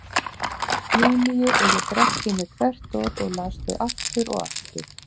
Júlíu og ég drakk í mig hvert orð og las þau aftur og aftur.